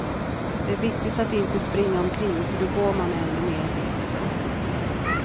Det är viktigt att inte springa omkring, för då går man ännu mer vilse.